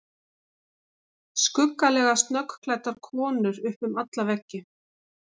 Skuggalega snöggklæddar konur upp um alla veggi.